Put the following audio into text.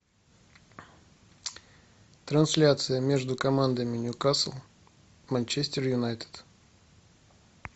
трансляция между командами ньюкасл манчестер юнайтед